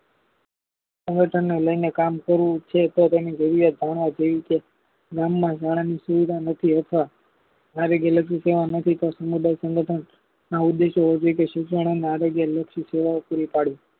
સંગઠને લઈને કામ કરવું છે. તો તેની જરૂરિયાત જાણવા જેવી છે ગામમાં શાળાની સુવિધા નથી અથવા શારીરિક લગતી સેવાઓથી તો સામુદાયિક સંગઠન ના ઉદેશો છેકે શિક્ષણ અને આરોગ્ય લક્ષી સેવાઓ પુરી પાડવી